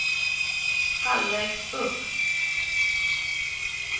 halvvägs upp